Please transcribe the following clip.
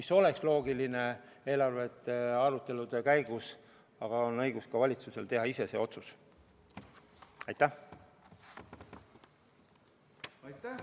See oleks loogiline eelarvearutelude käigus, aga valitsusel on õigus ka ise see otsus teha.